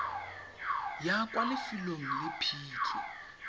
ya kwa lefelong le phitlho